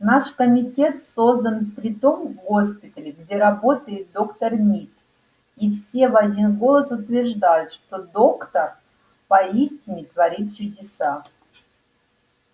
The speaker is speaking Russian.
наш комитет создан при том госпитале где работает доктор мид и все в один голос утверждают что доктор поистине творит чудеса